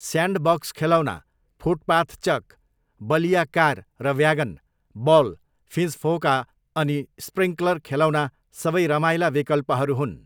Sandbox खेलौना, footpath chalk, बलिया car र व्यागन, बल, फिँजफोका अनि स्प्रिङ्कलर खेलौना सबै रमाइला विकल्पहरू हुन्।